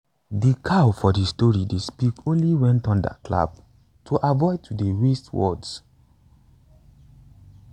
de cow for de story dey speak only wen thunder clap to avoid to dey waste words